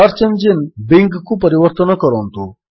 search engine ବିଙ୍ଗ୍କୁ ପରିବର୍ତ୍ତନ କରନ୍ତୁ